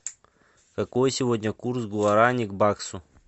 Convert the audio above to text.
какой сегодня курс гуарани к баксу